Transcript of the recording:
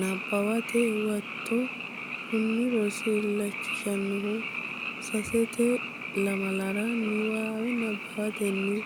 Nabbawate Huwato Kuni rosi illachishannohu sasente lamala niwaawe nabbawatenni